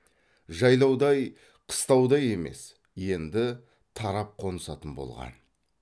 жайлаудай қыстаудай емес енді тарап қонысатын болған